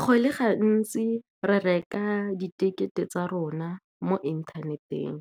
Go le gantsi re reka di-ticket-e tsa rona mo inthaneteng,